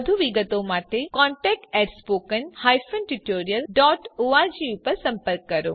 વધુ વિગતો માટે contactspoken tutorialorg પર સંપર્ક કરો